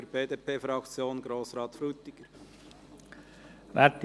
Für die BDP-Fraktion: Grossrat Frutiger.